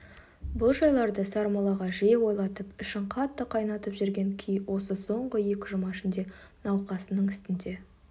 бұл жайларды сармоллаға жиі ойлатып ішін қатты қайнатып жүрген күй осы соңғы екі жұма ішінде науқасының үстінде